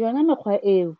Yona mekgwa eo